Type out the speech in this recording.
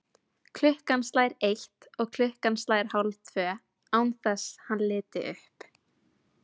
Klukkan slær eitt og klukkan slær hálftvö, án þess hann líti upp.